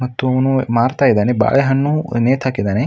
ಮತ್ತು ಅವನು ಮಾರ್ತಾ ಇದ್ದಾನೆ ಬಾಳೆಹಣ್ಣು ನೇತು ಹಾಕಿದ್ದಾನೆ -